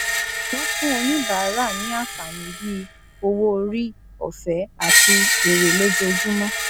wọn fún oníbàárà ní àǹfààní bíi owó orí òfẹẹ àti èrè lójoojúmọ